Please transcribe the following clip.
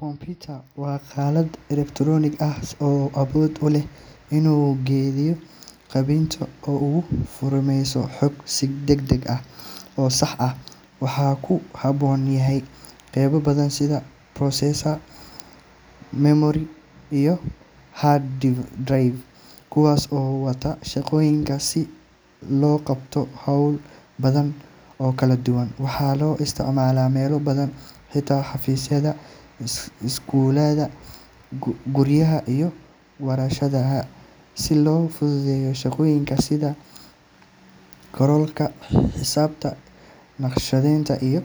Computer waa qalab elektaroonig ah oo awood u leh inuu kaydiyo, habeeyo, oo uu farsameeyo xog si degdeg ah oo sax ah. Waxa uu ka kooban yahay qaybo badan sida processor, memory, iyo hard drive, kuwaas oo wada shaqeeya si loo qabto hawlo badan oo kala duwan. Waxaa loo isticmaalaa meelo badan sida xafiisyada, iskuulada, guryaha, iyo warshadaha si loo fududeeyo shaqooyinka sida qoraalka, xisaabta, naqshadeynta, iyo